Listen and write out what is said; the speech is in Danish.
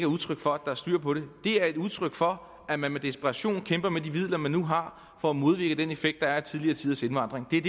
udtryk for at der er styr på det det er et udtryk for at man med desperation kæmper med de midler man nu har for at modvirke den effekt der er af tidligere tiders indvandring det er